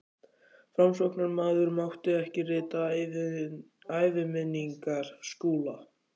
Framsóknarmaður mátti ekki rita æviminningar Skúla.